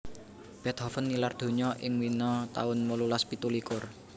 Beethoven nilar donya ing Wina taun wolulas pitu likur